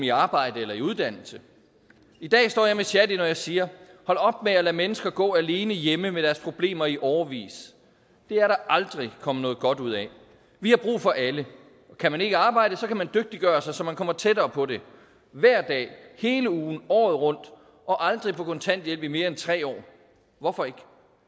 i arbejde eller i uddannelse i dag står jeg med shadi når jeg siger hold op med at lade mennesker gå alene hjemme med deres problemer i årevis det er der aldrig kommet noget godt ud af vi har brug for alle kan man ikke arbejde kan man dygtiggøre sig så man kommer tættere på det hver dag hele ugen året rundt og aldrig på kontanthjælp i mere end tre år hvorfor ikke